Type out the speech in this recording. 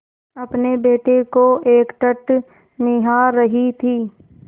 अपने बेटे को एकटक निहार रही थी